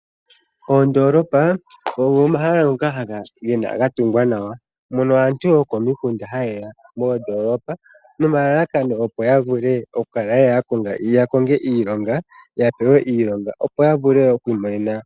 Oondoolopa ogo mahala ngoka gatungwa nawa, mono aantu yokomikunda hayeya moondoolopa noma lalakano opo yavule okukonga iilonga opo yavule okwiimonena oshimaliwa.